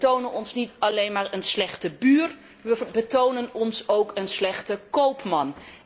Wij betonen ons niet alleen maar een slechte buur, wij betonen ons ook een slechte koopman.